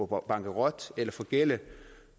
gå bankerot eller forgælde